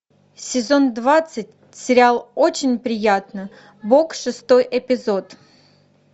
сезон двадцать сериал очень приятно бог шестой эпизод